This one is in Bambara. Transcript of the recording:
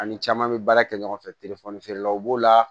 Ani caman bɛ baara kɛ ɲɔgɔn fɛ telefɔni feerelaw b'o la